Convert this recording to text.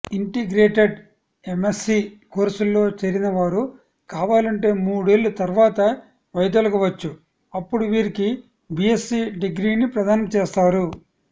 integrated MSc కోర్సుల్లో చేరినవారు కావాలంటే మూడేళ్ల తర్వాత వైదొలగవచ్ఛు అప్పుడు వీరికి బీఎస్సీ డిగ్రీని ప్రదానం చేస్తారు